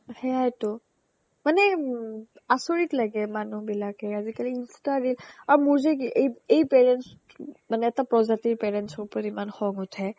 সেয়াইটো মানে উম্ আচৰিত লাগে মানুহবিলাকে আজিকালি insta , reel অ মোৰ যে কি এই এই parents মানে এটা প্ৰজাতিৰ parentsৰ ওপৰত ইমান খঙ উঠে